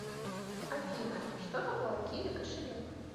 афина что такое киви кошелек